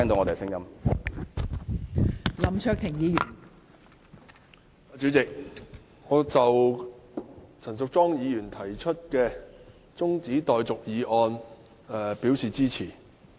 代理主席，我對陳淑莊議員提出的中止待續議案表示支持。